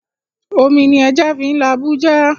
Omi ni ẹja fín labú já